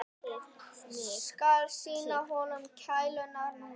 Skal sýna honum klærnar núna.